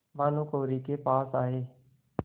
भानुकुँवरि के पास आये